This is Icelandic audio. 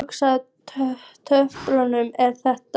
Hvurslags umfjöllun er þetta?